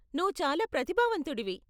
నువ్వు చాలా ప్రతిభావంతుడివి.